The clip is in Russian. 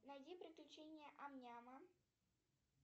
найди приключения ам няма